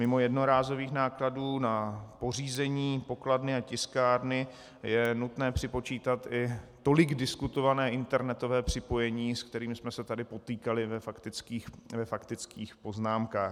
Mimo jednorázových nákladů na pořízení pokladny a tiskárny je nutné připočítat i tolik diskutované internetové připojení, se kterým jsme se tady potýkali ve faktických poznámkách.